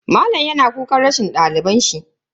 Malam yana kukan rashin dalibin shi.